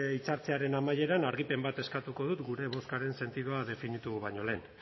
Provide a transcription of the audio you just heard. hitzartzearen amaieran argipen bat eskatuko dut gure bozkaren sentidua definitu baino lehen